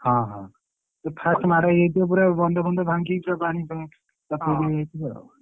ହଁ ହଁ first ମାଡ଼ ହେଇଯାଇଥିବ ପୁରା ବନ୍ଧ ଫାନ୍ଧ ଭାଂଗିଯାଇଥିବ ବଡେଇଦେଇଥିବ ପୁରା full ହେଇଯାଇଥିବ ଆଉ ହଁ।